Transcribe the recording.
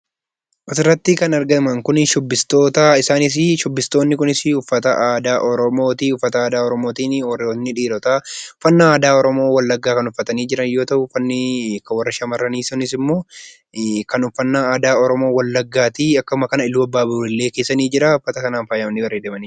Asirratti kan argaman kun shubbistoota isaanisii shubbistootni kunisi uffata aadaa oromooti . Uffata aadaa oromootiin, warri dhiirotaa uffata aadaa oromoo wallaggaa kan uffatanii jiran yoo ta'u, uffanni kan warra shamarranii sunisimmoo kan uffannaa aadaa oromoo wallaggaati akkuma kana iluu abbaa boor illee keessa ni jira. Uffata kanan faayamanii jiru